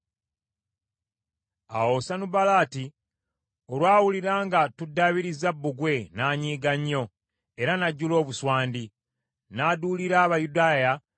Awo Sanubalaati olwawulira nga tuddaabiriza bbugwe, n’anyiiga nnyo era n’ajjula obuswandi. N’aduulira Abayudaaya